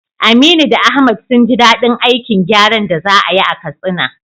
Aminu da Ahmad sun ji dadin aikin gyaran da za a yi a Katsina.